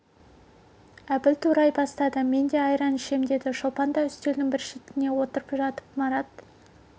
әбіл турай бастады мен де айран ішем деді шолпан да үстелдің бір шетіне отырып жатып марат